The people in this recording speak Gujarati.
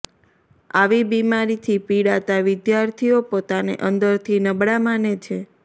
આવી બીમારીથી પીડાતા વિદ્યાર્થીઓ પોતાને અંદરથી નબળા માને છે